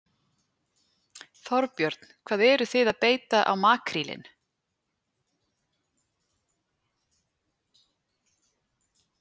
Þorbjörn: Hvað eruð þið að beita á makrílinn?